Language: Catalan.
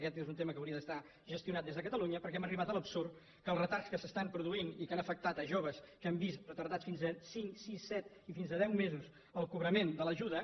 aquest és un tema que hauria d’estar gestionat des de catalunya perquè hem arribat a l’absurd que els retards que es produeixen i que han afectat a joves que han vist retardats fins a cinc sis set i fins a deu mesos el cobrament de l’ajuda